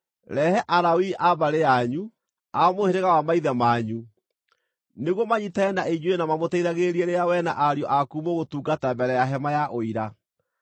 Rehe Alawii a mbarĩ yanyu, a mũhĩrĩga wa maithe manyu, nĩguo manyiitane na inyuĩ na mamũteithagĩrĩrie rĩrĩa wee na ariũ aku mũgũtungata mbere ya Hema-ya-Ũira.